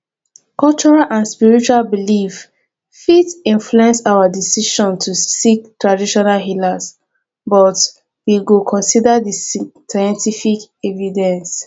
culture and spiritual beliefs fit influence our decisions to seek traditional healers but we go consider di scientific evidence